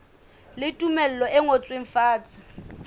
le tumello e ngotsweng fatshe